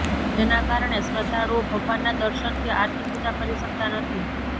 જેના કારણે શ્રદ્ધાળુઓ ભગવાનના દર્શન કે આરતી પૂજા કરી શકતા નથી